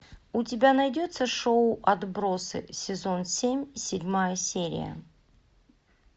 у тебя найдется шоу отбросы сезон семь седьмая серия